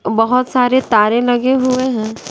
बहोत सारे तारे लगे हुए हैं।